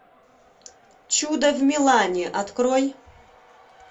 чудо в милане открой